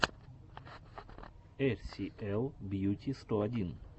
эр си эл бьюти сто один